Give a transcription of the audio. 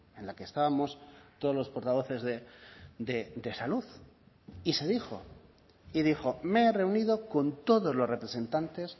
en la que estábamos todos los portavoces de salud y se dijo y dijo me he reunido con todos los representantes